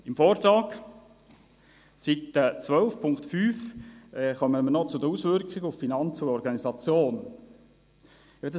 Im Vortrag, auf Seite 12, unter Punkt 5, werden die Auswirkungen auf die Finanzen und die Organisation genannt.